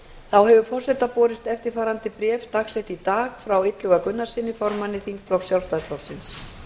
þá hefur forseta borist eftirfarandi bréf dagsett í dag frá illuga gunnarssyni formanni þingflokks sjálfstæðisflokksins